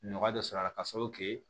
Nɔgɔ dɔ sɔrɔ a la k'a sababu kɛ